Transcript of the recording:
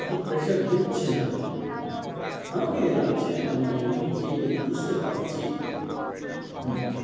এতো pressure দিচ্ছে না। আমাকে যা লাগছে। মানে আমি যে বুঝতে পারছি। হম